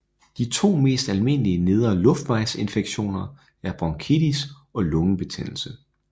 De to mest almindelige nedre luftvejsinfektioner er bronkitis og lungebetændelse